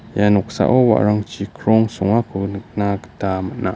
ia noksao wa·arangchi krong songako niknagita man·a.